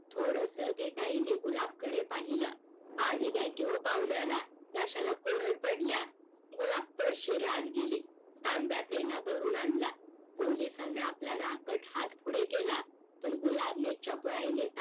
थोडस भेकाईने गुलाब कडे पाहिलं पाणी द्या की हो पाहुण्याला घश्याला कोरड पडल्या गुलाब तशी रे आत गेली तांब्या पेला भरून आणला पोलिसान आपला रागट हात पुढे केला पण गुलाबेन चपळाईने